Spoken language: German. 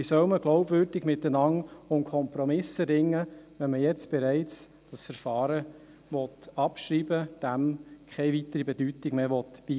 Wie soll man glaubwürdig miteinander um Kompromisse ringen, wenn man das Verfahren jetzt bereits abschreiben, diesem keine weitere Bedeutung mehr beimessen will?